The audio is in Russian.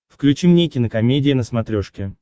включи мне кинокомедия на смотрешке